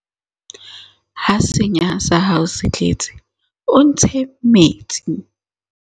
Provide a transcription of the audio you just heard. ha senya sa hao se tletse o ntshe metsi